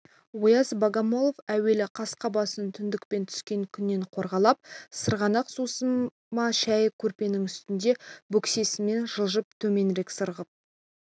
ояз богомолов әуелі қасқа басын түндіктен түскен күннен қорғалап сырғанақ сусыма шәйі көрпенің үстінде бөксесімен жылжып төменірек сырғып